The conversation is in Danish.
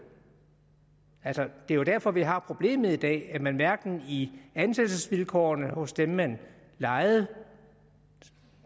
altså det er jo derfor vi har problemet i dag nemlig at man hverken i ansættelsesvilkårene hos dem man lejede